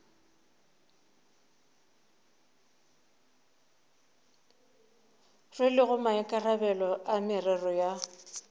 rwelego maikarabelo a merero ya